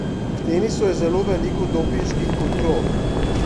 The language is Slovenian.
V tenisu je zelo veliko dopinških kontrol.